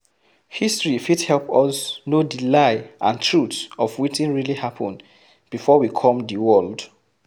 History fit help us know di lie and truth of wetin really happen before we come di world